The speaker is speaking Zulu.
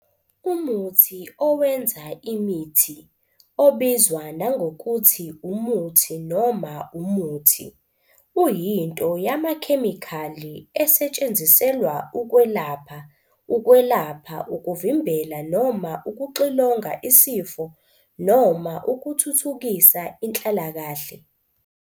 Umuthi owenza imithi, obizwa nangokuthi umuthi noma umuthi, uyinto yamakhemikhali esetshenziselwa ukwelapha, ukwelapha, ukuvimbela noma ukuxilonga isifo noma ukuthuthukisa inhlalakahle.